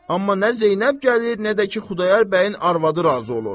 Amma nə Zeynəb gəlir, nə də ki, Xudayar bəyin arvadı razı olur.